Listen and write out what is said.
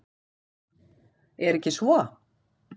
Er ekki svo?